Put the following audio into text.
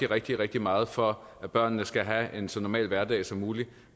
rigtig rigtig meget for at børnene skal have en så normal hverdag som muligt